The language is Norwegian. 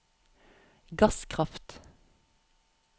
gasskraft